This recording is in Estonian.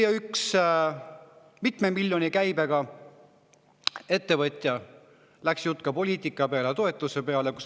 Jutt läks ka poliitika peale, toetuse peale.